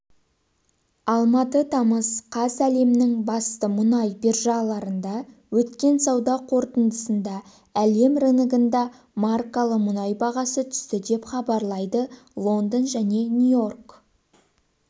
алматы тамыз қаз әлемнің басты мұнай биржаларында өткен сауда қортындысында әлем рыногындағы маркалы мұнай бағасы түсті деп хабарлайды лондон және нью-йорк